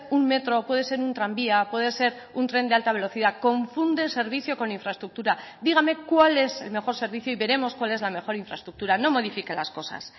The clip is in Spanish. un metro puede ser un tranvía puede ser un tren de alta velocidad confunde el servicio con infraestructura dígame cuál es el mejor servicio y veremos cuál es la mejor infraestructura no modifique las cosas